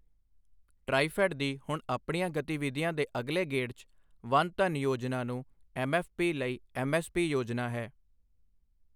ਟਰਾਈਫ਼ੈੱਡ ਦੀ ਹੁਣ ਆਪਣੀਆਂ ਗਤੀਵਿਧੀਆਂ ਦੇ ਅਗਲੇ ਗੇੜ 'ਚ ਵਨ ਧਨ ਯੋਜਨਾ ਨੂੰ ਐੱਮਐੱਫ਼ਪੀ ਲਈ ਐੱਮਐੱਸਪੀ ਯੋਜਨਾ ਹੈ।